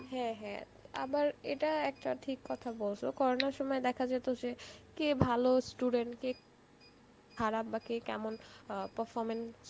হ্যাঁ হ্যাঁ আবার এটা ঠিক কথা বলছো, coronar সময় দেখা যেত যে, কে ভালো স্টুডেন্ট কে খারাপ বা কে কেমন আ performance